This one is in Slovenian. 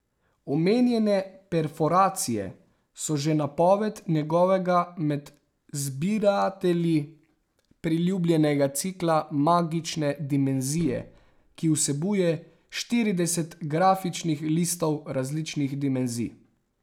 Omenjene perforacije so že napoved njegovega med zbiratelji priljubljenega cikla Magične dimenzije, ki vsebuje štirideset grafičnih listov različnih dimenzij.